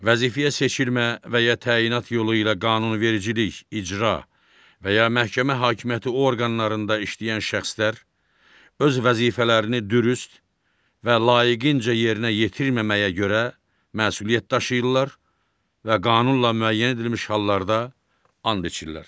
Vəzifəyə seçilmə və ya təyinat yolu ilə qanunvericilik, icra və ya məhkəmə hakimiyyəti orqanlarında işləyən şəxslər öz vəzifələrini dürüst və layiqincə yerinə yetirməməyə görə məsuliyyət daşıyırlar və qanunla müəyyən edilmiş hallarda and içirlər.